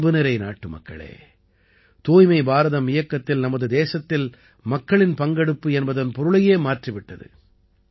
என் அன்புநிறை நாட்டுமக்களே தூய்மை பாரதம் இயக்கத்தில் நமது தேசத்தில் மக்களின் பங்கெடுப்பு என்பதன் பொருளையே மாற்றி விட்டது